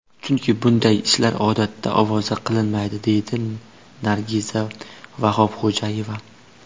Chunki bunday ishlar odatda ovoza qilinmaydi”, deydi Nargiza Vahobxo‘jayeva.